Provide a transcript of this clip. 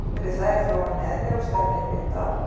Miðað við það er þróunin eðlileg og stefnir í rétta átt.